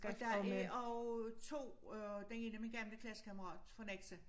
Og der er og 2 øh den ene er min gamle klassekammerat fra Nexø